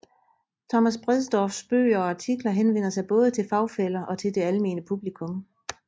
Thomas Bredsdorffs bøger og artikler henvender sig både til fagfæller og til det almene publikum